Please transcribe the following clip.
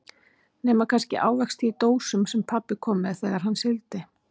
Nema kannski ávexti í dósum sem pabbi kom með þegar hann sigldi.